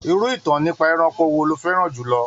Irú ìtàn nípa ẹranko wo lo fẹ́ràn jù lọ?